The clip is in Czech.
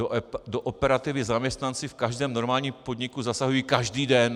Do operativy zaměstnanci v každém normálním podniku zasahují každý den.